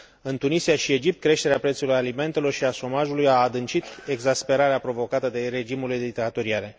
În Tunisia și Egipt creșterea prețurilor alimentelor și a șomajului a adâncit exasperarea provocată de regimurile dictatoriale.